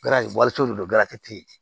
walisow de don tɛ yen